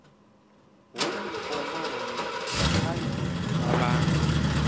womgomani ngaphandle kwabantu